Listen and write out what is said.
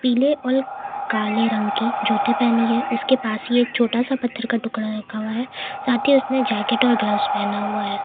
पीले और काले रंग की जूते पहनी है उसके पास ही एक छोटा सा टुकड़ा रखा हुआ है साथ ही उसने जैकेट ग्लव्स और पहना हुआ है।